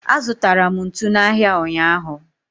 azụtara m ntu n'ahịa ụnyaahụ.